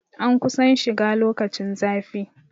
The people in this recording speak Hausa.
An kusan shiga lokacin zafi